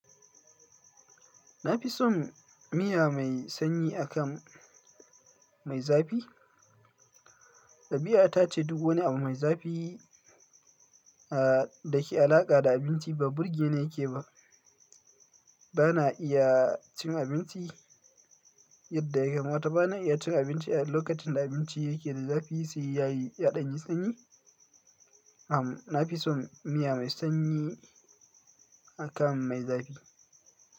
Nafison miya mai sanyi akan mai zafi. Ɗabi'a ta ce duk wani abu mai zafi a da ke alaƙa da abinci ba burge ne yake ba. Bana iya cin abinci yadda ya kamata. Bana iya cin abinci a lokacin da abinci yake da zafi sai ya yi ya danyi sanyi. A'a, na fi son miya mai sanyi akan mai zafi.